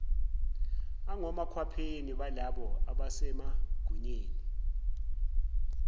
angomakhwapheni balabo abasemagunyeni